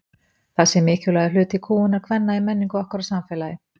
Það sé mikilvægur hluti kúgunar kvenna í menningu okkar og samfélagi.